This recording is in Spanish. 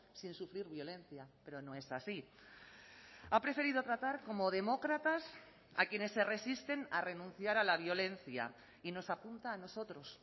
sin sufrir violencia pero no es así ha preferido tratar como demócratas a quienes se resisten a renunciar a la violencia y nos apunta a nosotros